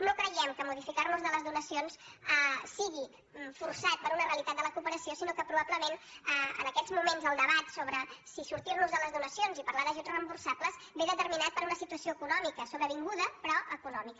no creiem que modificar nos de les donacions sigui forçat per una realitat de la cooperació sinó que probablement en aquests moments el debat sobre si sortir nos de les donacions i parlar d’ajuts reemborsables és determinat per una situació econòmica sobrevinguda però econòmica